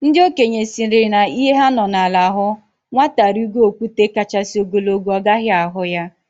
Ndị okenye sịrị na ihe ha nọ na ala hụ, nwata rigo okwute kachasị ogologo, ọ gaghị ahụ ya